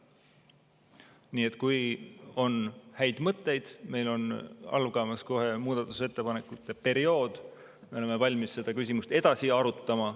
Nii et kui on häid mõtteid – meil algab kohe muudatusettepanekute periood –, siis me oleme valmis seda küsimust edasi arutama.